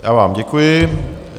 Já vám děkuji.